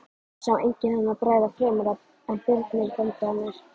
Sá enginn henni bregða fremur en Birni bónda hennar.